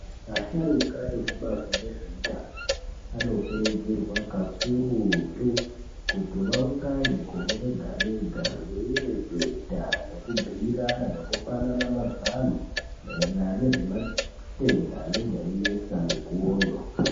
Asharuka ekubazi rezveutano vanokurudzirwa kakurutu kuti vaungane gore rega-rega veireketa nekubhuirana nekupanana mazano maererano nezvematenda anenge einesa mikuwoyo.